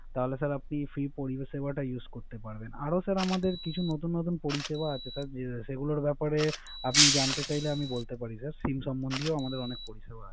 তাহলে স্যার আপনি ফ্রি পরিসেবা Use করতে পারেন। আরে স্যার আমাদের কিছু নতুন পরিসেবা তার সেগুলা ব্যাপারে জানতে চাইছে আমি বলতে পারি। SIM সম্বধিয় আমাদের অনেক তথ্য আছে